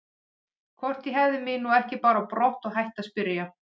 Hvort ég hefði mig nú ekki bara á brott og hætti að spyrja.